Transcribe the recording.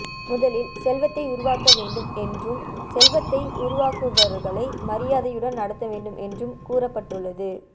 முதலில் செல்வத்தை உருவாக்க வேண்டும் என்றும் செல்வத்தை உருவாக்குபவர்களை மரியாதையுடன் நடத்த வேண்டும் என்றும் கூறப்பட்டுள்ளது